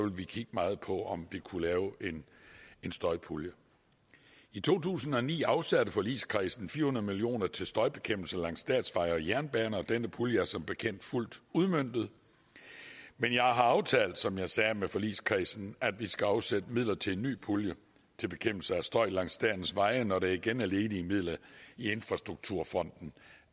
ville kigge meget på om vi kunne lave en støjpulje i to tusind og ni afsatte forligskredsen fire hundrede million kroner til støjbekæmpelse langs statsveje og jernbaner og denne pulje er som bekendt fuldt udmøntet men jeg har aftalt som jeg sagde med forligskredsen at vi skal afsætte midler til en ny pulje til bekæmpelse af støj langs statens veje når der igen er ledige midler i infrastrukturfonden